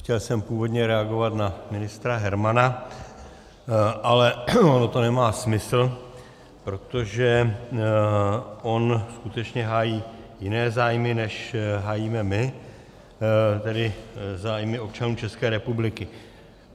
Chtěl jsem původně reagovat na ministra Hermana, ale ono to nemá smysl, protože on skutečně hájí jiné zájmy, než hájíme my, tedy zájmy občanů České republiky.